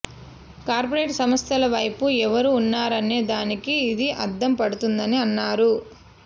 corporate సంస్థల వైపు ఎవరు ఉన్నారనే దానికి ఇది అద్దం పడుతోందని అన్నారు